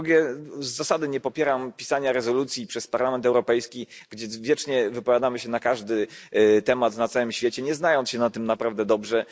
A po drugie, z zasady nie popieram pisania przez Parlament Europejski rezolucji, w których wiecznie wypowiadamy się na każdy temat na całym świecie, nie znając się na tym naprawdę dobrze.